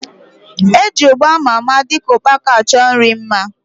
Eji ugba ama ama dịka ukpaka achọ nri mma